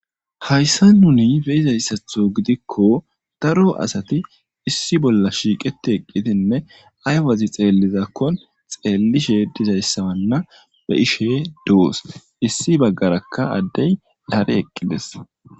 hayssa nuni beizayssatho gidikko daro asati issi bolla shiiqeti eqqitinne aywazi xeellizakko xeellishe dizayssawanna be ishe doos issi baggarakka addey dare eqqides